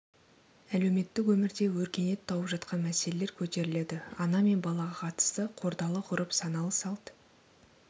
әлеуметтік өмірде өркениет тауып жатқан мәселелер көтеріледі ана мен балаға қатысты қордалы ғұрып саналы салт